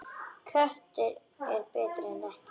Köttur er betri en ekkert.